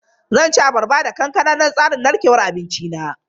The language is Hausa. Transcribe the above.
Zan ci abarba da kokwamba don tsarin narkewar abinci na.